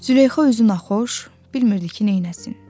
Züleyxa özünü naxoş, bilmirdi ki, neynəsin.